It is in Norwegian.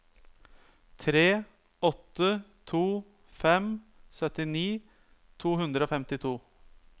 tre åtte to fem syttini to hundre og femtito